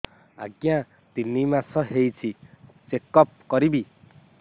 ଆଜ୍ଞା ତିନି ମାସ ହେଇଛି ଚେକ ଅପ କରିବି